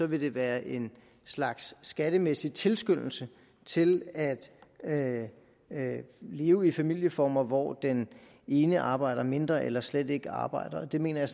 vil det være en slags skattemæssig tilskyndelse til at at leve i familieformer hvor den ene arbejder mindre eller slet ikke arbejder og det mener jeg